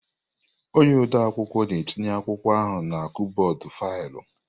Onye ode akwụkwọ na-etinye akwụkwọ ahụ na kọbọd faịlụ.